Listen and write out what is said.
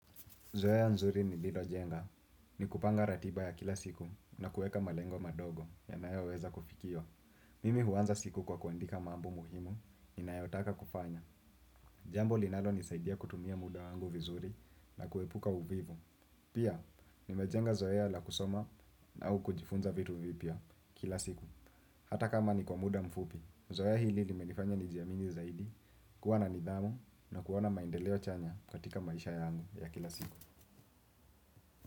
Zoea nzuri nililojenga. Ni kupanga ratiba ya kila siku na kuweka malengo madogo yanayoweza kufikiwa. Mimi huanza siku kwa kuandika mambo muhimu, ninayotaka kufanya. Jambo linalonisaidia kutumia muda wangu vizuri na kuepuka uvivu. Pia, nimejenga zoea ya la kusoma na au kujifunza vitu vipya kila siku. Hata kama ni kwa muda mfupi, zoea hili nimenifanya nijiamini zaidi, kuwa na nidhamu na kuwa na maendeleo chanya katika maisha yangu ya kila siku.